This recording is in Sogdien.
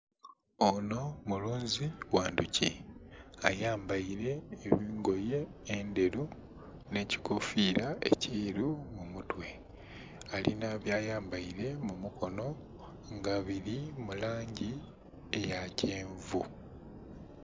Onho mulunzi gha ndhuki ayambaile engoye endhelu nh'ekikofiira ekyeru ku mutwe. Alinha byayambaile mu mukono nga bili mu langi eya kyenvu.